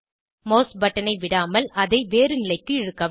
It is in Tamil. மாஸ் பட்டனை விடாமல் அதை வேறு நிலைக்கு இழுக்கவும்